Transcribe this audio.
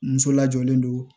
Muso lajɔlen don